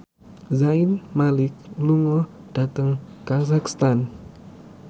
Zayn Malik lunga dhateng kazakhstan